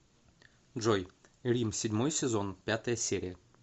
джой рим седьмой сезон пятая серия